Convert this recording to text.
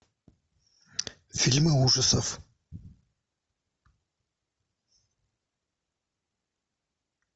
фильмы ужасов